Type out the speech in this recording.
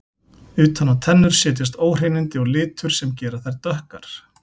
Utan á tennur setjast óhreinindi og litur sem gera þær dökkar.